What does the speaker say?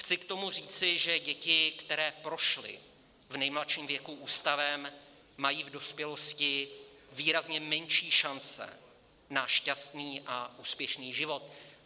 Chci k tomu říci, že děti, které prošly v nejmladším věku ústavem, mají v dospělosti výrazně menší šance na šťastný a úspěšný život.